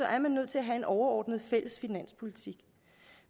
er man nødt til at have en overordnet fælles finanspolitik